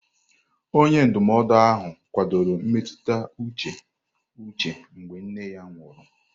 Onye ndụmọdụ ahụ kwadoro mmetụta uche Uche mgbe nne ya nwụrụ.